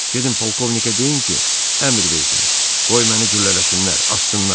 Gedin polkovnikə deyin ki, əmr versin, qoy məni güllələsinlər, assınlar.